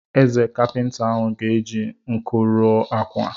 Eze, kapịnta ahụ ga eji nkụ ruo ákwà.